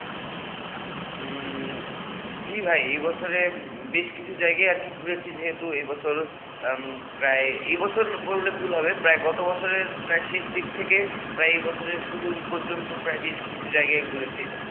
উম জি ভাই এ বছরে বেশ কিছু জায়গায় আর কি ঘুরেছি যেহেতু এ বছর, প্রায় এ বছর বললে ভুল হবে প্রায় গত বছরের প্রায় শেষ দিক থেকে প্রায় এ বছরে শুরু পর্যন্ত প্রায় বেশ কিছু জায়গায় ঘুরেছি